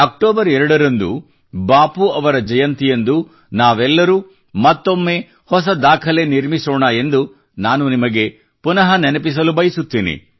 October 2 ರಂದು ಬಾಪೂ ಅವರ ಜನ್ಮ ಜಯಂತಿಯಂದು ನಾವೆಲ್ಲರೂ ಮತ್ತೊಮ್ಮೆ ಹೊಸ ದಾಖಲೆ ನಿರ್ಮಿಸೋಣ ಎಂದು ನಾನು ನಿಮಗೆ ಪುನಃ ನೆನಪಿಸಲು ಬಯಸುತ್ತೇನೆ